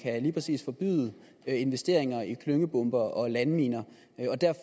lige præcis kan forbyde investeringer i klyngebomber og landminer